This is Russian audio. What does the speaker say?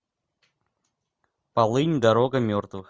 полынь дорога мертвых